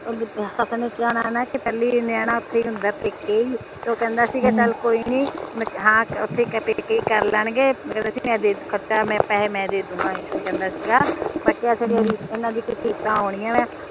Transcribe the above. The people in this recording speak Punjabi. ਪਹਿਲਾ ਨਿਆਣਾ ਉਥੇ ਹੀ ਹੁੰਦਾ ਪੇਕੇ ਈ ਤੇ ਉਹ ਕਹਿੰਦਾ ਸੀਗਾ ਚਲ ਕੋਈ ਨੀ